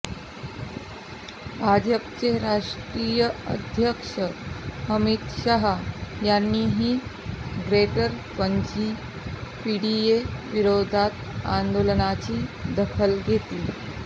भाजपचे राष्ट्रीय अध्यक्ष अमित शहा यांनीही ग्रेटर पणजी पीडीए विरोधातील आंदोलनाची दखल घेतली आहे